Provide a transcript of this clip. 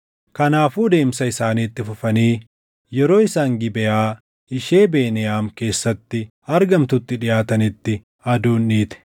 Kanaafuu deemsa isaanii itti fufanii yeroo isaan Gibeʼaa ishee Beniyaam keessatti argamtutti dhiʼaatanitti aduun dhiite.